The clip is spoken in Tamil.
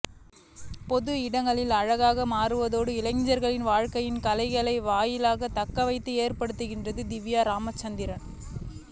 பொது இடங்களை அழகாக மாற்றுவதோடு இளைஞர்களின் வாழ்க்கையில் கலை வாயிலாக தாக்கத்தை ஏற்படுத்துகிறார் திவ்யா ராமச்சந்திரன்